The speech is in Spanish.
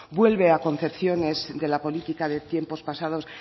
vuelve a concepciones de la política de tiempos pasados